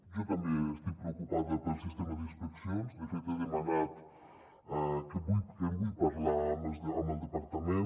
jo també estic preocupada pel sistema d’inspeccions de fet he demanat que en vull parlar amb el departament